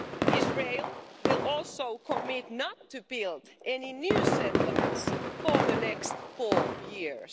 Israel will also commit not to build any new settlements for the next four years.